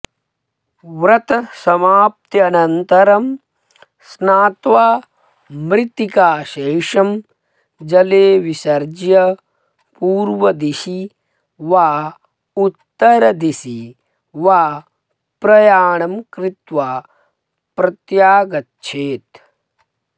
व्रतसमाप्त्यनन्तरं स्नात्वा मृत्तिकाशेषं जले विसर्ज्य पूर्वदिशि वा उत्तरदिशि वा प्रयाणं कृत्वा प्रत्यागच्छेत्